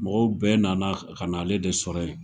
Mɔgɔw bɛɛ nana ka na ale de sɔrɔ yen!